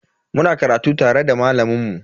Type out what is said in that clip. Muna karatu tare da malamin mu.